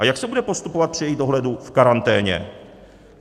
A jak se bude postupovat při jejich dohledu v karanténě?